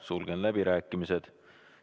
Sulgen läbirääkimised.